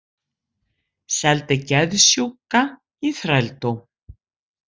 Seldi geðsjúka í þrældóm